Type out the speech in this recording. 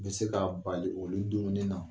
N be se ka bali o ni dumuni na.